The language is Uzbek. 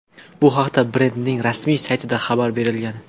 Bu haqda brendning rasmiy saytida xabar berilgan .